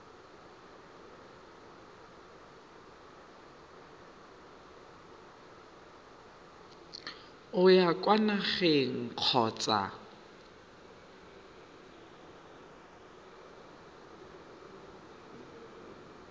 o ya kwa nageng kgotsa